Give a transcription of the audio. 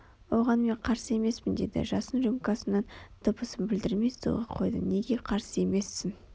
оған мен қарсы емеспін дедім жасын рюмкасының дыбысын білдірмей столға қойды неге қарсы емессің